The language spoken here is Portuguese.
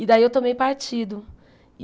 E daí eu tomei partido.